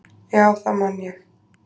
"""Já, það man ég"""